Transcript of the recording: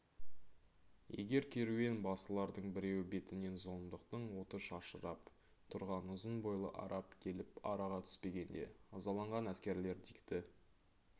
егер керуен басылардың біреуі бетінен зұлымдықтың оты шашырап тұрған ұзын бойлы араб келіп араға түспегенде ызаланған әскерлер дикті